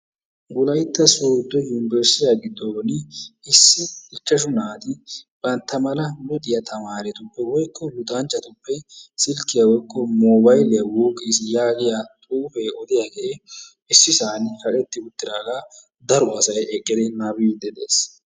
wolayitta sooddo yumburushiyaa giddooni issi ichchashu naati bantta mala luxiyaa tamaaretuppe woyikko luxanchchatuppe silkkiyaa woyikko moobayiliyaa wuuqqiis yaagiyaa xuufee odiyaagee issi san kaqetti uttidaagaa daro asay nababiiddi de'ees.